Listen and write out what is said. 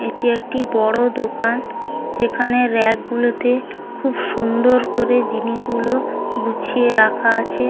এটি একটি বড় দোকান যেখানে রেক গুলোতে খুব সুন্দর করে জিনিসগুলো গুছিয়ে রাখা আছে ।